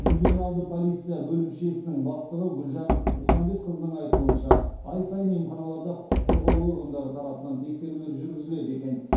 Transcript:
ювеналды полиция бөлімшесінің бастығы гүлжан мұхамбетқызының айтуынша ай сайын емханаларда құқық қорғау органдары тарапынан тексерулер жүргізіледі екен